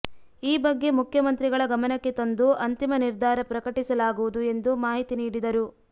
ಈ ಬಗ್ಗೆ ಮುಖ್ಯಮಂತ್ರಿಗಳ ಗಮನಕ್ಕೆ ತಂದು ಅಂತಿಮ ನಿರ್ಧಾರ ಪ್ರಕಟಿಸಲಾಗುವುದು ಎಂದು ಮಾಹಿತಿ ನೀಡಿದರು